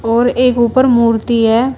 और एक ऊपर मूर्ति है।